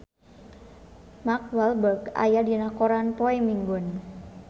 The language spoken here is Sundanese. Mark Walberg aya dina koran poe Minggon